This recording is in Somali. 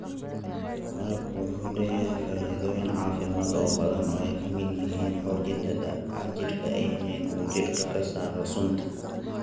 Malabku waxa uu leeyahay faa�iidooyin caafimaad oo badan oo ay ka mid yihiin xoojinta difaaca jidhka iyo in uu jidhka ka saaro sunta.